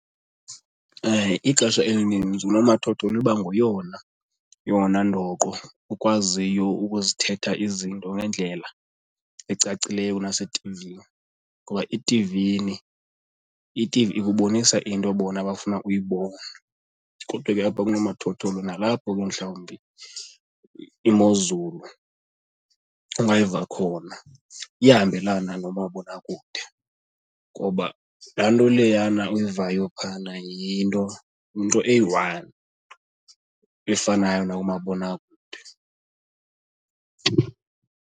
Ixesha elininzi unomathotholo iba nguyonayona ndoqo okwaziyo ukuzithetha izinto ngendlela ecacileyo kunasethivini ngoba ithivini, ithivi ikubonisa into bona abafuna uyibone, kodwa ke apha kunomathotholo nalapho ke mhlawumbi iimozulu ungayiva khona iyahambelana nomabonakude, ngoba laa nto leyana uyivayo phayana yinto, yinto eyi-one efanayo nakumabonakude.